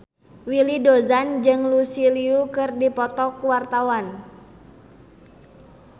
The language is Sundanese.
Willy Dozan jeung Lucy Liu keur dipoto ku wartawan